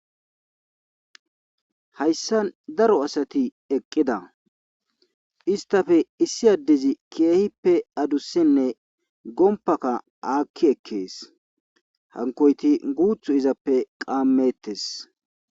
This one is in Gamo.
hayssa daro asati eqqida istafe issi addezi keehippe adussenne gompaka aakki ekkees hankoyti guuthu izappe qaammettes